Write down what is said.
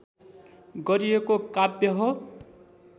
गरिएको काव्य हो